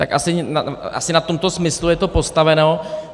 Tak asi na tomto smyslu je to postaveno.